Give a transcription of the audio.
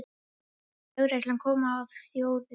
Lögregla kom að þjófi